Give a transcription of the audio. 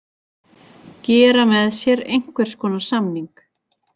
Gera með sér einhvers konar samning.